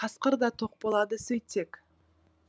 қасқыр да тоқ болады сөйтсек